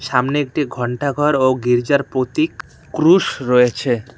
সামনে একটি ঘন্টাঘর ও গির্জার প্রতীক ক্রুশ রয়েছে।